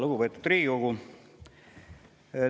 Lugupeetud Riigikogu!